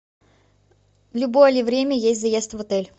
в любое ли время есть заезд в отель